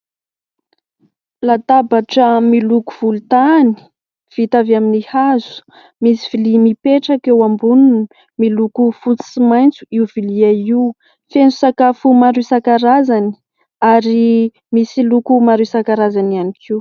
Latabatra miloko volontany vita avy amin'ny hazo, misy vilia mipetraka eo amboniny miloko fotsy sy maitso io vilia io ; feno sakafo maro isankarazany ary misy loko maro isankarazany ihany koa.